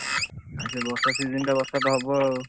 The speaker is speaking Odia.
ଆଉ ସେ ବର୍ଷା season ଟା ବର୍ଷା ତ ହବ ଆଉ,